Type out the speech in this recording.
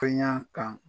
Ka ɲa kan